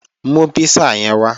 Mú písà yẹn wá!